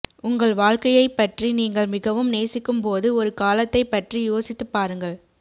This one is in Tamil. உங்கள் வாழ்க்கையைப்பற்றி நீங்கள் மிகவும் நேசிக்கும்போது ஒரு காலத்தைப் பற்றி யோசித்துப் பாருங்கள்